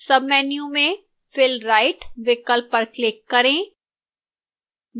submenu में fill right विकल्प पर click करें